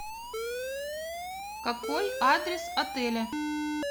какой адрес отеля